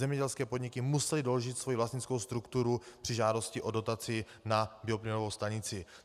Zemědělské podniky musely doložit svoji vlastnickou strukturu při žádosti o dotaci na bioplynovou stanici.